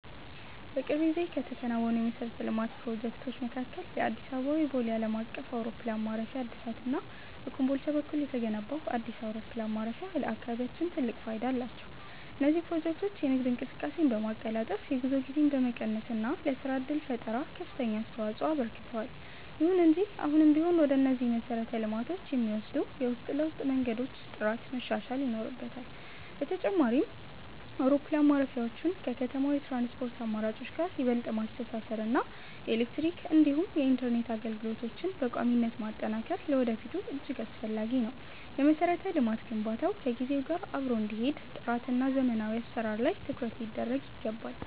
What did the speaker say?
በቅርብ ጊዜ ከተከናወኑ የመሠረተ ልማት ፕሮጀክቶች መካከል የአዲስ አበባው የቦሌ ዓለም አቀፍ አውሮፕላን ማረፊያ እድሳት እና በኮምቦልቻ በኩል የተገነባው አዲስ አውሮፕላን ማረፊያ ለአካባቢያችን ትልቅ ፋይዳ አላቸው። እነዚህ ፕሮጀክቶች የንግድ እንቅስቃሴን በማቀላጠፍ፣ የጉዞ ጊዜን በመቀነስ እና ለሥራ ዕድል ፈጠራ ከፍተኛ አስተዋፅኦ አበርክተዋል። ይሁን እንጂ አሁንም ቢሆን ወደ እነዚህ መሰረተ ልማቶች የሚወስዱ የውስጥ ለውስጥ መንገዶች ጥራት መሻሻል ይኖርበታል። በተጨማሪም፣ አውሮፕላን ማረፊያዎቹን ከከተማው የትራንስፖርት አማራጮች ጋር ይበልጥ ማስተሳሰር እና የኤሌክትሪክ እንዲሁም የኢንተርኔት አገልግሎቶችን በቋሚነት ማጠናከር ለወደፊቱ እጅግ አስፈላጊ ነው። የመሠረተ ልማት ግንባታው ከጊዜው ጋር አብሮ እንዲሄድ ጥራትና ዘመናዊ አሠራር ላይ ትኩረት ሊደረግ ይገባል።